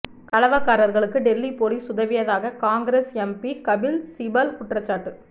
கலவக்காரர்களுக்கு Delhi police உதவியதாக Congress MP Kapil Sibal குற்றச்சாட்டு